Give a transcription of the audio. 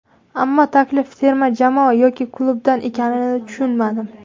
Ammo taklif terma jamoa yoki klubdan ekanini tushunmadim.